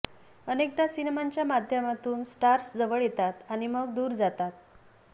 अनेकदा सिनेमांच्या माध्यमातून स्टार्स जवळ येतात आणि मग दूर जातात